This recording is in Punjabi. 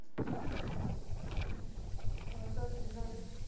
ਹੋਰ ਰੋਟੀ ਬਣਾ ਲੀ।